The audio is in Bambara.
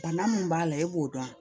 Bana min b'a la e b'o dɔn